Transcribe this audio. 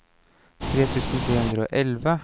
tre tusen tre hundre og elleve